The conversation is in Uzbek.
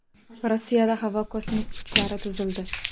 Rossiyada havo kosmik kuchlari tuzildi.